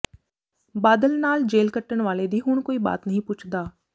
ਬਾਦਲ ਨਾਲ ਜੇਲ੍ਹ ਕੱਟਣ ਵਾਲੇ ਦੀ ਹੁਣ ਕੋਈ ਬਾਤ ਨਹੀਂ ਪੁੱਛਦਾ